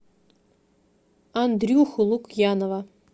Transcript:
андрюху лукьянова